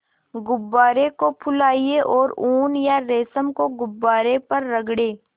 गुब्बारे को फुलाएँ और ऊन या रेशम को गुब्बारे पर रगड़ें